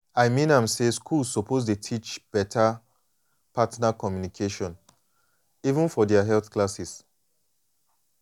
i mean am say schools suppose dey teach beta partner communication even for their health classes.